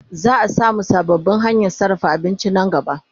Za'a samu sababbin hanyan sarrafa abinci Nan gaba